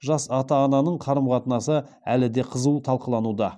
жас ата ананың қарым қатынасы әлі де қызу талқылануда